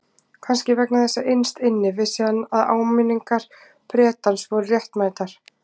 Kannski vegna þess að innst inni vissi hann að áminningar Bretans voru réttmætar.